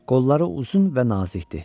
Qolları uzun və nazikdi.